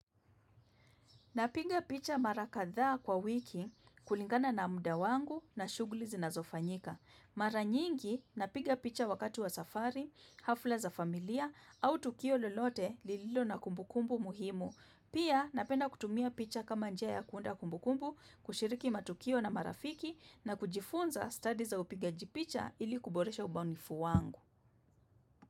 Napinga picha marakadhaa kwa wiki kulingana na mda wangu na shuguli zinazo fanyika. Mara nyingi napinga picha wakati wa safari, hafla za familia au tukio lelote lililo na kumbukumbu muhimu. Pia napenda kutumia picha kama njia ya kuunda kumbukumbu kushiriki matukio na marafiki na kujifunza study za upigaji picha ili kuboresha ubaunifu wangu.